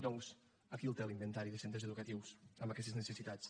doncs aquí el té l’inventari de centres educatius amb aquestes necessitats